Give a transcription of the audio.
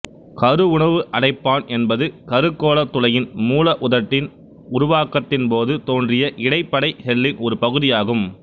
கருவுணவு அடைப்பான் என்பது கருகோளத் துளையின் மூல உதடின் உருவாக்கத்தின் போது தோன்றிய இடைப்படை செல்லின் ஒரு பகுதியாகும்